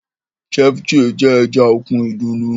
Ceviche jẹ́ ẹja òkun ìdùnnú